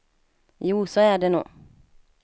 Jo, så är det nog.